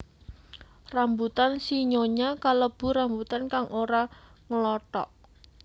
Rambutan sinyonya kalebu rambutan kang ora nglothok